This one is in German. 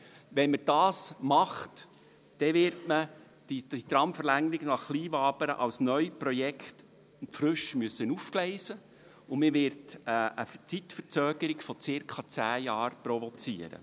Wird es so umgesetzt, muss die Tramverlängerung nach Kleinwabern als Neuprojekt frisch aufgegleist werden, womit man eine Zeitverzögerung von circa 10 Jahren provoziert.